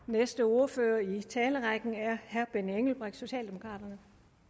næste ordfører i talerrækken er herre benny engelbrecht fra socialdemokraterne